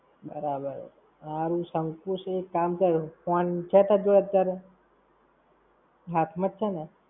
બરાબર, હારું, શંકુશ નું એક કામ થયું, ફોન છે તારી જોડે અત્યારે? હાથ માં જ છે ને?